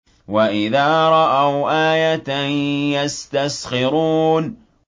وَإِذَا رَأَوْا آيَةً يَسْتَسْخِرُونَ